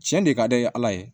Cɛn de ka di ala ye